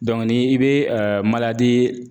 ni i be